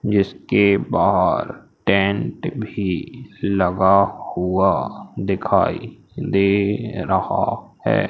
जिसके बाहर टेंट भी लगा हुआ दिखाई दे रहा है।